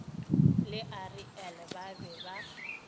le ariel ba be ba